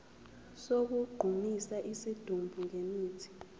sokugqumisa isidumbu ngemithi